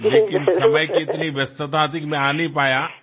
પરંતુ સમયની એટલી વ્યસ્તતા હતી કે હું ન આવી શક્યો